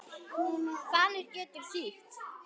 Fanir getur þýtt